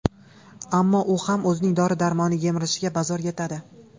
Ammo u ham o‘zining dori-darmoni, yemishiga bazo‘r yetadi.